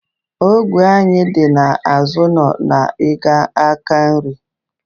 Ogwe anyị dị n'azụ ụlọ na ị gaa n'aka nri